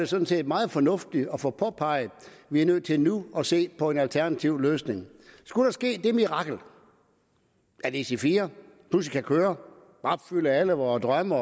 sådan set meget fornuftigt at få påpeget at vi er nødt til nu at se på en alternativ løsning skulle der ske det mirakel at ic4 pludselig kan køre opfylde alle vore drømme